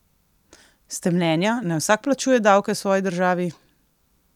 Ste mnenja, naj vsak plačuje davke svoji državi?